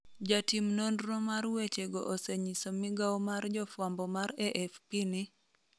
Jatim nonro mar weche go osenyiso migawo mar jofwambo mar AFP ni